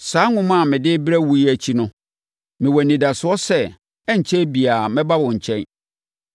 Saa nwoma a mede rebrɛ wo yi akyi no, mewɔ anidasoɔ sɛ ɛrenkyɛre biara mɛba wo nkyɛn.